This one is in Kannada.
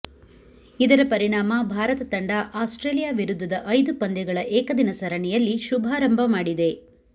ಇದರ ಪರಿಣಾಮ ಭಾರತ ತಂಡ ಆಸ್ಟ್ರೇಲಿಯಾ ವಿರುದ್ಧದ ಐದು ಪಂದ್ಯಗಳ ಏಕದಿನ ಸರಣಿಯಲ್ಲಿ ಶುಭಾರಂಭದ ಮಾಡಿದೆ